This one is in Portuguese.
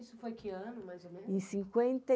Isso foi que ano, mais ou menos? em cinquenta e...